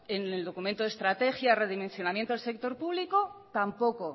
en el documento de estrategia y redimensionamiento del sector público tampoco